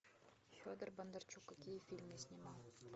федор бондарчук какие фильмы снимал